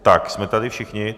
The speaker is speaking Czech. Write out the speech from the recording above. Tak, jsme tady všichni?